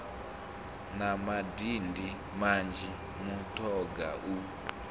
na madindi manzhi mutoga u